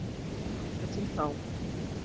Þangað til þá.